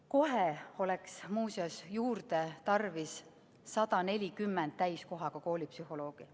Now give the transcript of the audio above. Kohe oleks muuseas juurde tarvis 140 täiskohaga koolipsühholoogi.